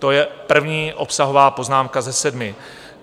To je první obsahová poznámka ze sedmi.